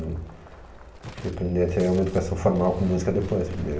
Fui aprender a ter uma educação formal com música depois, primeiro.